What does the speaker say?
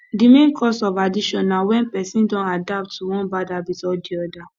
di main cause of addiction na when person don adapt to one bad habit or di other